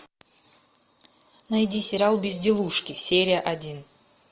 найди сериал безделушки серия один